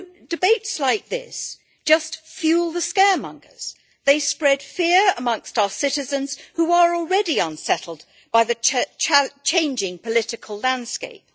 Debates like this just fuel the scaremongers and spread fear amongst our citizens, who are already unsettled by the changing political landscape.